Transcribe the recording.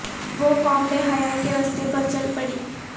وہ قوم بے حیائی کے رستے پر چل پڑی